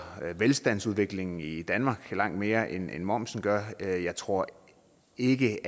velstandsudviklingen i danmark langt mere end momsen gør jeg jeg tror ikke det